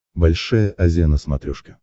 большая азия на смотрешке